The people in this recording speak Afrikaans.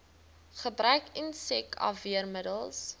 gebruik insek afweermiddels